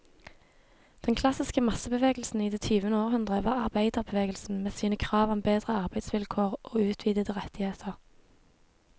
Den klassiske massebevegelsen i det tyvende århundre var arbeiderbevegelsen, med sine krav om bedre arbeidsvilkår og utvidede rettigheter.